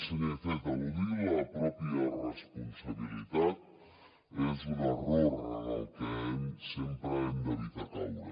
senyor iceta eludir la pròpia responsabilitat és un error en el que sempre hem d’evitar caure